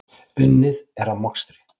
Unnið er að mokstri.